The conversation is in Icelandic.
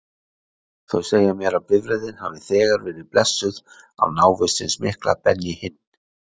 Þau segja mér að bifreiðin hafi þegar verið blessuð af návist hins mikla Benny Hinn.